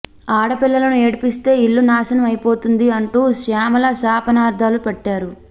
ఆడపిల్లను ఏడ్పిస్తే ఇళ్లు నాశనం అయిపోతుంది అంటూ శ్యామల శాపనర్థాలు పెట్టారు